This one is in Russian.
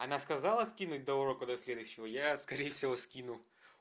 она сказала скинуть до урока до следующего я скорее всего скину